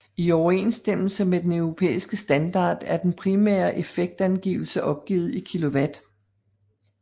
I overensstemmelse med europæisk standard er den primære effektangivelse opgivet i kW